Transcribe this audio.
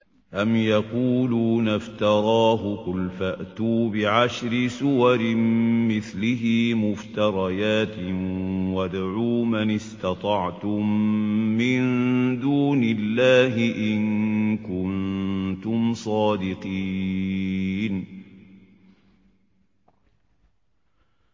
أَمْ يَقُولُونَ افْتَرَاهُ ۖ قُلْ فَأْتُوا بِعَشْرِ سُوَرٍ مِّثْلِهِ مُفْتَرَيَاتٍ وَادْعُوا مَنِ اسْتَطَعْتُم مِّن دُونِ اللَّهِ إِن كُنتُمْ صَادِقِينَ